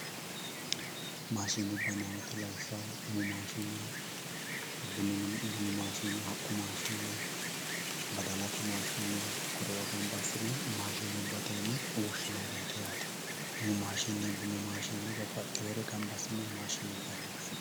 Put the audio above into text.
maashinubba yinayii woyiite lawishshaho umu maashine bunu mini maashine haqqu maashine badalate maashine kore"oo ganba assine maashinubbate woshshinayiireeti yaate umu maashine bunu maashine babbaxxewoore ganba assine maashinubbate yine woshshinanni.